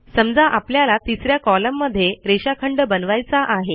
समजा आपल्याला तिस या कॉलममध्ये रेषाखंड बनवायचा आहे